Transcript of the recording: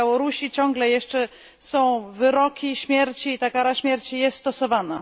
W Białorusi ciągle jeszcze są wyroki śmierci i ta kara śmierci jest stosowana.